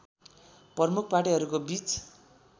प्रमुख पार्टीहरूको बीच